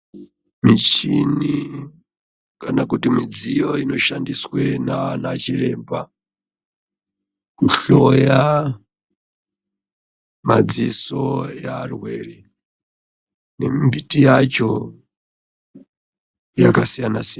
Mushini kana kuti midziyo inoshandiswa nana chiremba kuhloya madziso evarwere nembiti yacho yakasiyana siyana.